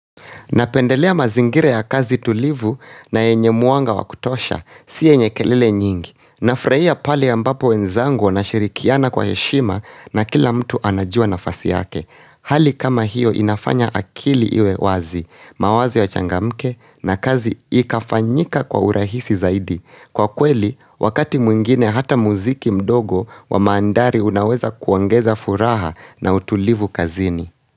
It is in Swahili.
Napendelea mazingira ya kazi tulivu na yenye mwanga wa kutosha, si yenye kelele nyingi. Nafurahia pale ambapo wenzangu wanashirikiana kwa heshima na kila mtu anajua nafasi yake. Hali kama hiyo inafanya akili iwe wazi, mawazo yachangamke na kazi ikafanyika kwa urahisi zaidi. Kwa kweli, wakati mwingine hata muziki mdogo wa mandhari unaweza kuongeza furaha na utulivu kazini.